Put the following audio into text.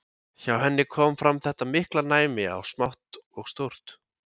Hjá henni kom fram þetta mikla næmi á smátt og stórt.